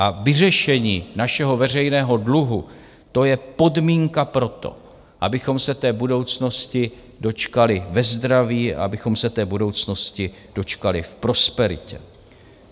A vyřešení našeho veřejného dluhu, to je podmínka pro to, abychom se té budoucnosti dočkali ve zdraví, abychom se té budoucnosti dočkali v prosperitě.